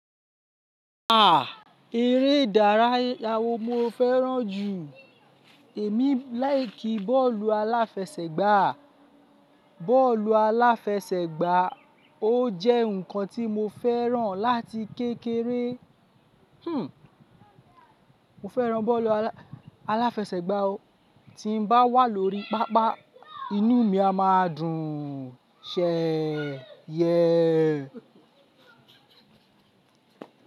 Ah! Eré ìdárayá wo mo fẹ́ràn jù? Èmi láìkí bọ́ọ̀lù aláfẹsẹ̀gbá. Bọ́ọ̀lù aláfẹsẹ̀gbá ó jẹ́ ǹkan tí mo fẹ́ràn láti kékeré. Hmm, mo fẹ́ràn bọ́ọ̀lù alá, alafẹsẹ̀gbá o. Tí n bá wà lórí pápá, inú mi a máa dùn. Ṣèé yẹe.